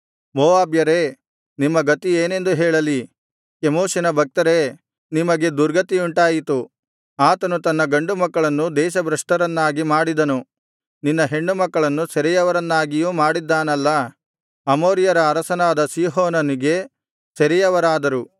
ಮೋವಾಬ್ಯರೇ ನಿಮ್ಮ ಗತಿಯೇನೆಂದು ಹೇಳಲಿ ಕೆಮೋಷಿನ ಭಕ್ತರೇ ನಿಮಗೆ ದುರ್ಗತಿಯುಂಟಾಯಿತು ಆತನು ತನ್ನ ಗಂಡುಮಕ್ಕಳನ್ನು ದೇಶಭ್ರಷ್ಟರನ್ನಾಗಿ ಮಾಡಿದನು ನಿನ್ನ ಹೆಣ್ಣುಮಕ್ಕಳನ್ನು ಸೆರೆಯವರನ್ನಾಗಿಯೂ ಮಾಡಿದ್ದಾನಲ್ಲಾ ಅಮೋರಿಯರ ಅರಸನಾದ ಸೀಹೋನನಿಗೆ ಸೆರೆಯವರಾದರು